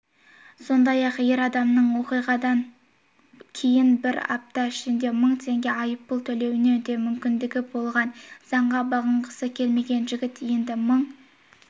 сондай-ақ ер адамның оқиғадан кейін бір апта ішінде мың теңге айыппұл төлеуіне де мүмкіндігі болған заңға бағынғысы келмеген жігіт енді мың